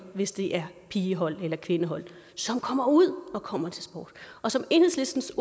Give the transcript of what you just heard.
hvis det er pigehold eller kvindehold kommer ud og kommer til sport og som enhedslistens